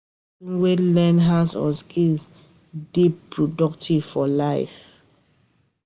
Pesin wey learn hands-on skill dey dey productive for life.